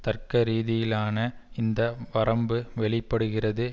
தர்க்க ரீதியிலான இந்த வரம்பு வெளி படுகிறது